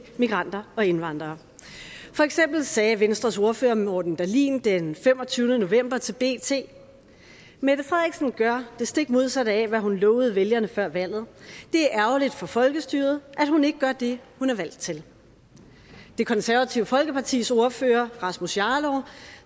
migranter og indvandrere for eksempel sagde venstres ordfører morten dahlin den femogtyvende november til bt mette frederiksen gør det stik modsatte af hvad hun lovede vælgerne før valget det er ærgerligt for folkestyret at hun ikke gør det hun er valgt til det konservative folkepartis ordfører rasmus jarlov